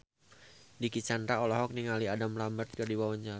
Dicky Chandra olohok ningali Adam Lambert keur diwawancara